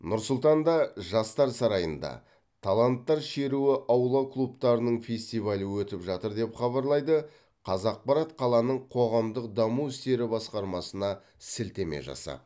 нұр сұлтанда жастар сарайында таланттар шеруі аула клубтарының фестивалі өтіп жатыр деп хабарлайды қазақпарат қаланың қоғамдық даму істері басқармасына сілтеме жасап